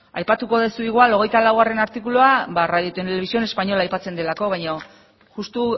aipatuko duzu igual hogeita laugarrena artikulua radio televisión española aipatzen delako baina justu